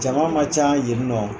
Jama man ca yen ni nɔ